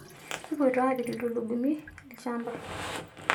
Kupoito aapik ltulugumi lshamba